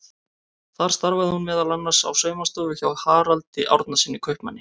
Þar starfaði hún meðal annars á saumastofu hjá Haraldi Árnasyni kaupmanni.